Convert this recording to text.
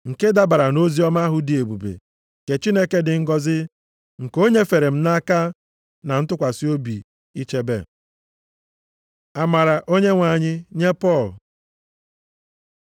nke dabara nʼoziọma ahụ dị ebube, nke Chineke dị ngọzị, nke o nyefere m nʼaka na ntụkwasị obi ichebe. Amara Onyenwe anyị nye Pọl